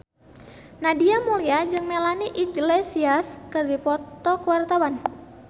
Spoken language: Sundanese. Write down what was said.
Nadia Mulya jeung Melanie Iglesias keur dipoto ku wartawan